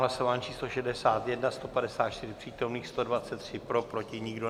Hlasování číslo 61, 154 přítomných, 123 pro, proti nikdo.